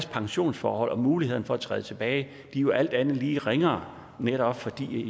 pensionsforhold og mulighed for at træde tilbage jo alt andet lige er ringere netop fordi de